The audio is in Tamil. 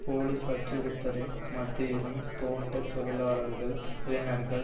போலிஸ் அச்சுறுத்தலின் மத்தியிலும் தோட்ட தொழிலாளர்கள் இளைஞர்கள்